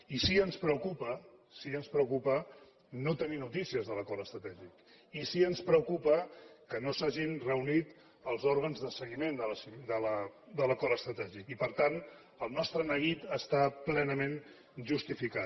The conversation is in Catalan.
i sí que ens preocupa sí que ens preocupa no tenir notícies de l’acord estratègic i sí que ens preocupa que no s’hagin reunit els òrgans de seguiment de l’acord estratègic i per tant el nostre neguit està plenament justificat